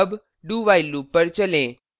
अब do… while loop पर चलें